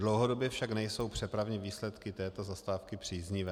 Dlouhodobě však nejsou přepravní výsledky této zastávky příznivé.